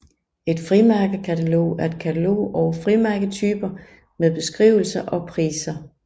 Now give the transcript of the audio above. Et frimærkekatalog er et katalog over frimærketyper med beskrivelser og priser